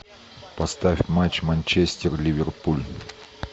поставь матч манчестер ливерпуль